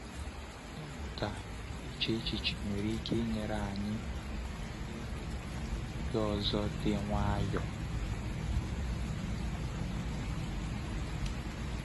Ịmụta iche echiche nwere ike inyere anyị ihu nrụgide ọzọ dị nwayọ.